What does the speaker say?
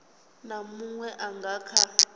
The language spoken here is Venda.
na munwe a nga kha